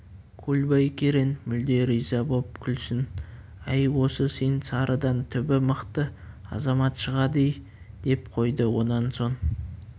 көлбай керең мүлде риза боп күлсін әй осы сен сарыдан түбі мықты азамат шығады-ей деп қойды онан соң